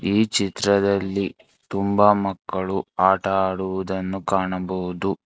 ಈ ಚಿತ್ರದಲ್ಲಿ ತುಂಬಾ ಮಕ್ಕಳು ಆಟ ಆಡುವುದನ್ನು ಕಾಣಬಹುದು.